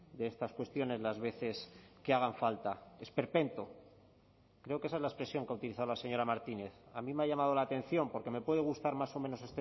de estas cuestiones las veces que hagan falta esperpento creo que esa es la expresión que ha utilizado la señora martínez a mí me ha llamado la atención porque me puede gustar más o menos